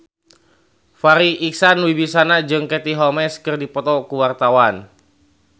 Farri Icksan Wibisana jeung Katie Holmes keur dipoto ku wartawan